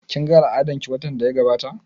Kin ga al'adan ki watan da ya gabata?